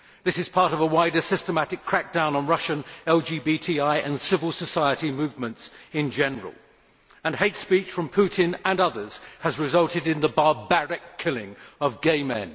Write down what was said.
This is part of a wider systematic crackdown on Russian LGBT people and civil society movements in general, and hate speech from Putin and others has resulted in the barbaric killing of gay men.